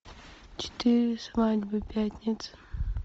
четыре свадьбы пятница